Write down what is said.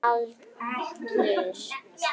Hverjir gerðu hvað?